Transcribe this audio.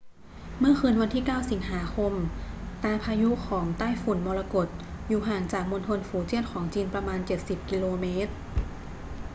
เมื่อคืนวันที่ 9 สิงหาคม ตาพายุของไต้ฝุ่นมรกตอยู่ห่างจากมณฑลฝูเจี้ยนของจีนประมาณเจ็ดสิบกิโลเมตร